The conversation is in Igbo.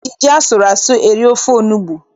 E ji ji asụrụ asụ eri ofe onugbu.